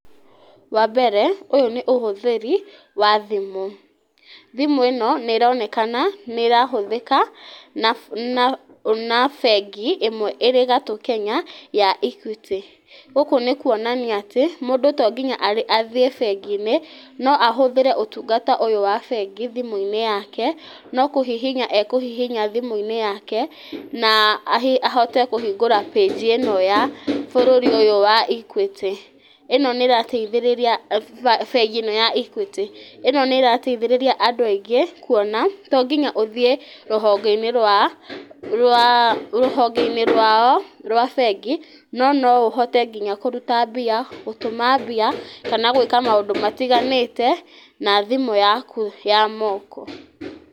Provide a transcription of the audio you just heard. Wa mbere ũyũ nĩ ũhũthĩri wa thimũ, thimũ ĩno nĩ ĩronekama nĩ ĩrahũthĩka na na na bengi ĩmwe ĩrĩ gatũ Kenya ya Equity. Gũkũ nĩ kuonania atĩ, mũndũ to nginya athiĩ bengi-inĩ no ahũthĩre ũtungata ũyũ wa bengi thimũ-inĩ yake, no kũhihinya ekũhihinya thimũ-inĩ yake na ahote kũhingũra page ĩno ya bũrũri ũyũ wa Equity, ĩno nĩ ĩrateithĩrĩria, bengi ĩno ya Equity, ĩno nĩ ĩrateithĩrĩria andũ aingĩ kuona tonginya ũthiĩ rũhonge-inĩ rwa rwa rũhonge-inĩ rwao rwa bengi, no noũhote nginya kũruta mbia, gũtũma mbia kana gwĩka maũndũ matiganĩte na thimũ yaku ya moko.